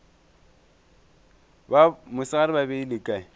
ba mosegare ba beile kae